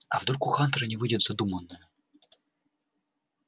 а вдруг у хантера не выйдет задуманное